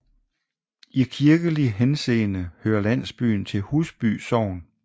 I kirkelig henseende hører landsbyen til Husby Sogn